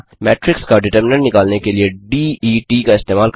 matrix का determinant निकालने के लिए det का इस्तेमाल करना